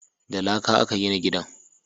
Da laƙa a ka gina gidan